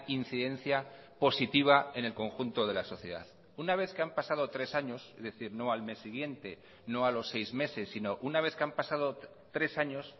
incidencia positiva en el conjunto de la sociedad una vez que han pasado tres años es decir no al mes siguiente no a los seis meses sino una vez que han pasado tres años